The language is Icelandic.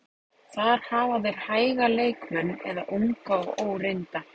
Þar hafa þeir hæga leikmenn eða unga og óreynda.